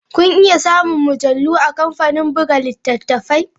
Kuna iya samun mujallu a kamfanin buga littattafai.